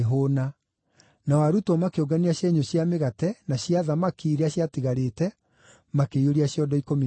nao arutwo makĩũngania cienyũ cia mĩgate na cia thamaki iria ciatigarĩte makĩiyũria ciondo ikũmi na igĩrĩ.